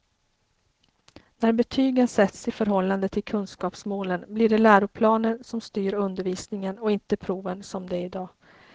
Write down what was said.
När betygen sätts i förhållande till kunskapsmålen blir det läroplanen som styr undervisningen och inte proven som det är i dag.